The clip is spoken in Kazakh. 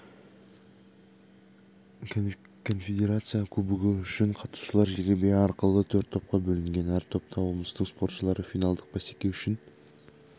конфедерация кубогы үшін қатысушылар жеребе арқылы төрт топқа бөлінген әр топта облыстың спортшылары финалдық бәсеке үшін